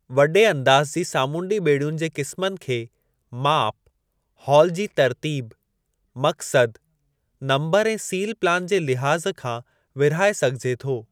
वॾे अंदाज़ जी सामूंडी ॿेड़ियुन जे क़िस्मनि खे माप, हॉल जी तर्तीब, मक़्सदु, नंबरु ऐं सील प्लान जे लिहाज़ खां विर्हाए सघिजे थो।